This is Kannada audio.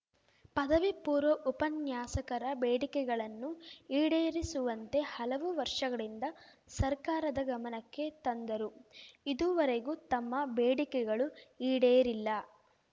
ಪದವಿ ಪೂರ್ವ ಉಪನ್ಯಾಸಕರ ಬೇಡಿಕೆಗಳನ್ನು ಈಡೇರಿಸುವಂತೆ ಹಲವು ವರ್ಷಗಳಿಂದ ಸರ್ಕಾರದ ಗಮನಕ್ಕೆ ತಂದರೂ ಇದುವರೆಗೂ ತಮ್ಮ ಬೇಡಿಕೆಗಳು ಈಡೇರಿಲ್ಲ